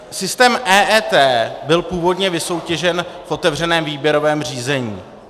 Systém EET byl původně vysoutěžen v otevřeném výběrovém řízení.